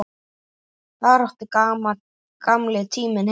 Þar átti gamli tíminn heima.